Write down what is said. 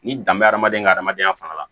N'i dan bɛ hadamaden ka hadamadenya fana la